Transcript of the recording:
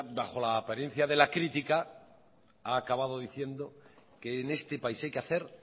bajo la apariencia de la crítica ha acabado diciendo que en este país hay que hacer